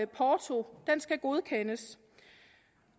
porto godkendes